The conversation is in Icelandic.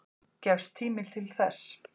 Gefst tími til þess?